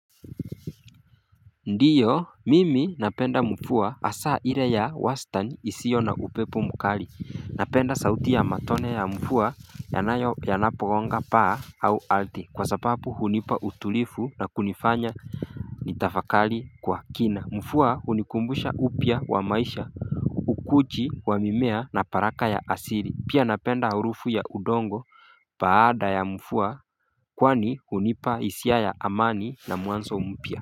Ndiyo mimi napenda mfua hasaa ire ya wastan isiyo na upepo mukali napenda sauti ya matone ya mfua yanayo yanaponga paa au aldhi kwa sapapu hunipa utulifu na kunifanya ni tafakali kwa kina mfua hunikumbusha upya wa maisha ukuchi wa mimea na paraka ya asiri pia napenda harufu ya udongo baada ya mfua kwani hunipa hisia ya amani na muanso mpya.